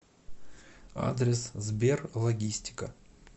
адрес сберлогистика